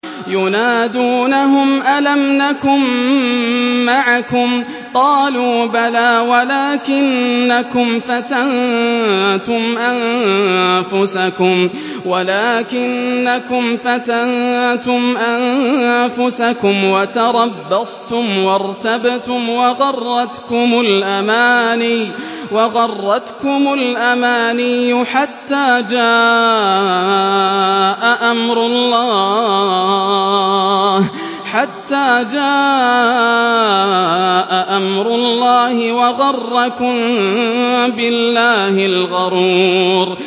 يُنَادُونَهُمْ أَلَمْ نَكُن مَّعَكُمْ ۖ قَالُوا بَلَىٰ وَلَٰكِنَّكُمْ فَتَنتُمْ أَنفُسَكُمْ وَتَرَبَّصْتُمْ وَارْتَبْتُمْ وَغَرَّتْكُمُ الْأَمَانِيُّ حَتَّىٰ جَاءَ أَمْرُ اللَّهِ وَغَرَّكُم بِاللَّهِ الْغَرُورُ